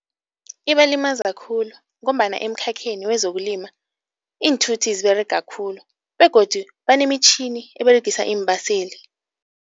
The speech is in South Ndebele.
Ibalimaza khulu ngombana emkhakheni wezokulima iinthuthi ziberega khulu begodu banemitjhini eberegisa iimbaseli.